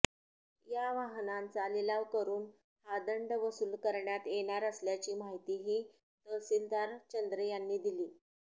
या वाहनांचा लिलाव करून हा दंड वसूल करण्यात येणार असल्याची माहितीही तहसीलदार चंद्रे यांनी दिली